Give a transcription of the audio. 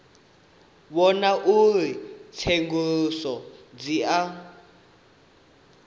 vhona uri tsenguluso dzi a